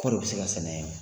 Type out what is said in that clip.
Kɔri o bi se ka sɛnɛ yen